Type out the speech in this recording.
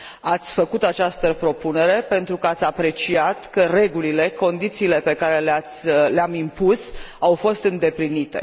Ați făcut această propunere pentru că ați apreciat că regulile, condițiile pe care le am impus, au fost îndeplinite.